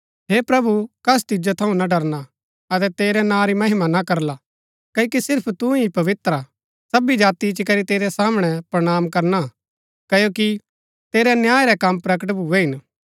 हे प्रभु कस तिजो थऊँ ना डरना अतै तेरै नां री महिमा ना करला क्ओकि सिर्फ तू ही पवित्र हा सबी जाति इच्ची करी तेरै सामणै प्रणाम करणा क्ओकि तेरै न्याय रै कम प्रगट भूए हिन